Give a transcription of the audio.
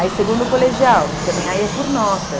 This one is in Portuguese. Aí segundo colegial, também aí é por nota.